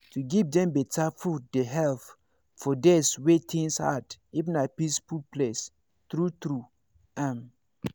to give dem better food dey help for days wey things hard if na peaceful place true true hmm